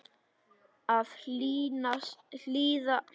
Að hlýða sínu kalli